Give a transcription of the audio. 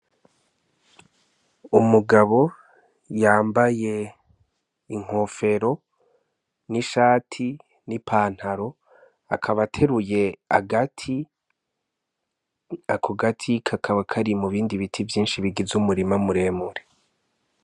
Umugabo yambaye inkofero, n'ishati n'ipantaro. Akaba ateruye agati, ako gati kakaba kari mubindi biti vyinshi bigize umurima muremure.